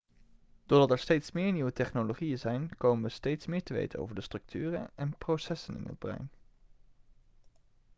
doordat er steeds meer nieuwe technologieën zijn komen we steeds meer te weten over de structuren en processen in het brein